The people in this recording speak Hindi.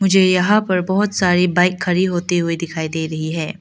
मुझे यहां पर बहोत सारी बाइक खड़ी होती हुई दिखाई दे रही है।